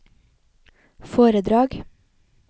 foredrag